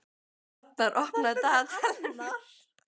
Annar, opnaðu dagatalið mitt.